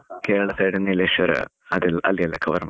Kerala side Nileshwar, ಅದೆಲ್ಲ ಅಲ್ಲಿ ಎಲ್ಲ cover ಮಾಡಿದೇವೆ.